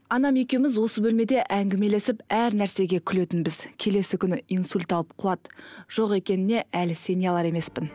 анам екеуіміз осы бөлмеде әңгімелесіп әр нәрсеге күлетінбіз келесі күні инсульт алып құлады жоқ екеніне әлі сене алар емеспін